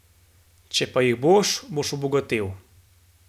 Če pa jih boš, boš obogatel.